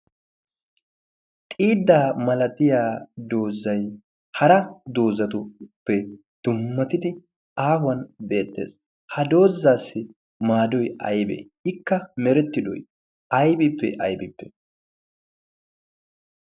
xiidaa malattiya dozzay hara dozzatuppe dummatidi haahuwan beetees. ha dozaassi maadoy aybee?